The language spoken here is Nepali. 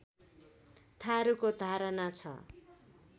थारुको धारणा छ